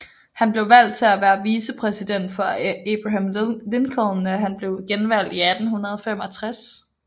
Han blev valgt til at være vicepræsident for Abraham Lincoln da denne blev genvalgt i 1865